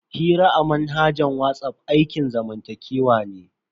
Hira a manhajar WhatsApp aikin zamantakewa ne.